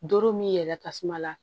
Doro min yɛrɛ tasuma la